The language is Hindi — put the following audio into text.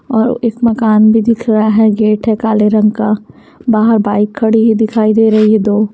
और इस मकान में दिख रहा है गेट काले रंग का बहार बाइक कड़ी हुई दिखाई दे रही है दो --